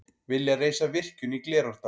Vilja reisa virkjun í Glerárdal